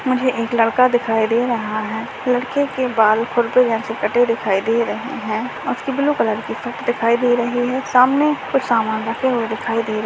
मुझे एक लड़का दिखाई दे रहा है लड़के के बाल जैसे कटे हुए दिखाई दे रहे हैं उसकी ब्लू कलर की शर्ट दिखाई दे रही है सामने कुछ सामान रखे हुए दिखाई दे रहे हैं।